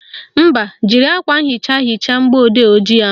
Mba, jiri akwa nhicha hichaa mgbọodee ojii ahụ